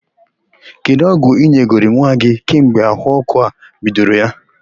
Kedụ ọgwụ ị nyegoro nwa gị kemgbe ahụ ọ́kụ́ a bidoro ya?